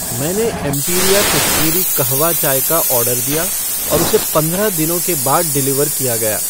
मैंने एम्पिरिआ कश्मीरी कहवा चाय का ऑर्डर दिया और उसे पंद्रह दिनों के बाद डिलीवर किया गया।